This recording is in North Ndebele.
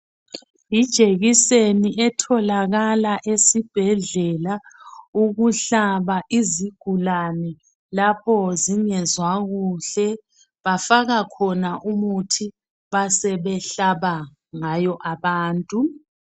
Yijekiseni etholakala esibhedlela ukuhlaba izigulane lapho zingezwa kuhle bafaka khona umuthi basebehlaba ngayo abantu.